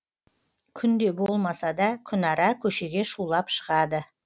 күнде болмаса да күнара көшеге шулап шығады